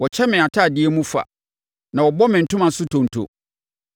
Wɔkyɛ me atadeɛ mu fa, na wɔbɔ me ntoma so ntonto.